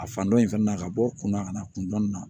A fan dɔ in fɛnɛ na ka bɔ kunna ka na kun dɔnni na